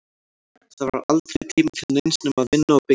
Það var aldrei tími til neins nema að vinna og byggja.